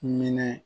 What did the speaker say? Minɛ